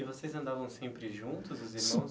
E vocês andavam sempre juntos, os irmãos?